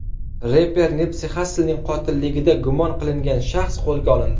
Reper Nipsi Xasslning qotilligida gumon qilingan shaxs qo‘lga olindi.